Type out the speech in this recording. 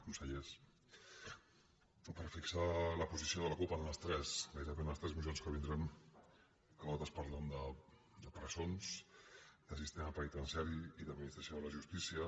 consellers per fixar la posició de la cup gairebé en les tres mocions que vindran totes parlant de presons de sistema penitenciari i d’administració de la justícia